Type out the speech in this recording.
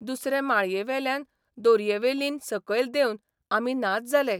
दुसरे माळयेवेल्यान दोरयेवेल्यान सकयल देंवन आमी नाच जाले.